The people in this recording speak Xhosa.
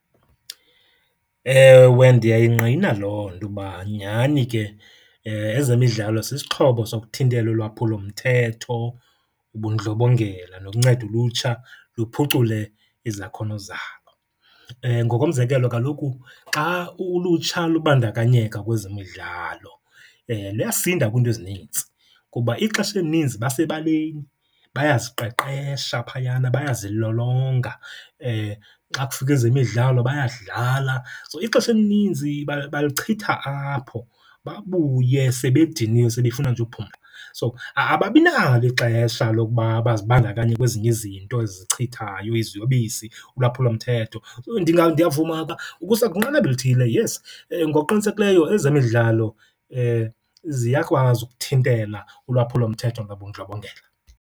Ewe, ndiyayingqina loo nto uba nyani ke ezemidlalo sisixhobo sokuthintela ulwaphulomthetho, ubundlobongela nokunceda ulutsha luphucule izakhono zalo. Ngokomzekelo, kaloku xa ulutsha lubandakanyeka kwezemidlalo luyasinda kwiinto ezinintsi, kuba ixesha elininzi basebaleni bayaziqeqesha phayana, bayazilolonga, xa kufika ezemidlalo bayadlala. So, ixesha elininzi balichitha apho babuye sebediniwe sebefuna nje uphumla. So, ababinalo ixesha lokuba bazibandakanye kwezinye izinto ezichithayo, iziyobisi, ulwaphulomthetho. So, ndiyavuma ukusa kwinqanaba elithile yes, ngokuqinisekileyo ezemidlalo ziyakwazi ukuthintela ulwaphulomthetho nobundlobongela.